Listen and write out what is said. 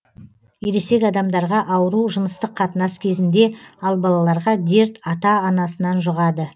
ересек адамдарға ауру жыныстық қатынас кезінде ал балаларға дерт ата анасынан жұғады